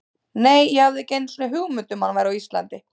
Nei, ég hafði ekki einu sinni hugmynd um að hann væri á Íslandi.